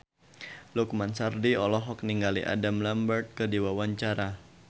Lukman Sardi olohok ningali Adam Lambert keur diwawancara